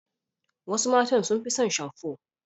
Wasu matan sun fi son shamfo.